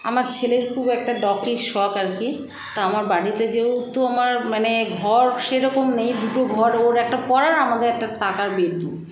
আমার ছেলের খুব একটা doggy -র শখ আরকি তো আমার বাড়িতে যেহুতু আমার মানে ঘর সেরকম নেই দুটো ঘর ওর একটা পড়ার আমাদের একটা থাকার bedroom